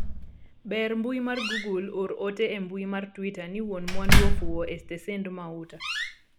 ber mbui mar google or ote e mbui mar twita ni wuon mwandu ofuwo e stesend mauta